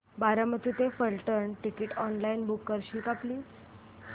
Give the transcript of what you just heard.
बारामती ते Phaltan ticket online book करशील का प्लीज